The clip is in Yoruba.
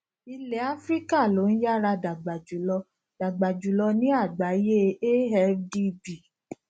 ilẹ áfíríkà ló ń yára dàgbà jùlọ dàgbà jùlọ ní àgbáyé afdb